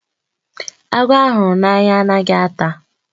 Agwọ a hụrụ anya anaghị ata.